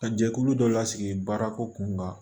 Ka jɛkulu dɔ lasigi baarako kun kan